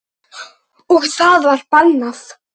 Og það var bannað.